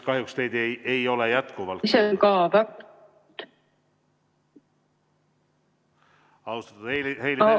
Kahjuks ei ole teid jätkuvalt kuulda ...